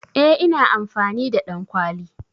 Eh ina amfani da ɗankwali.